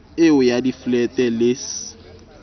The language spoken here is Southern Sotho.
eo ya diflete le c